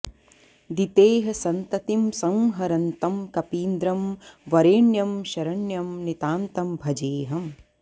दितेः सन्ततिं संहरन्तं कपीन्द्रं वरेण्यं शरण्यं नितान्तं भजेऽहम्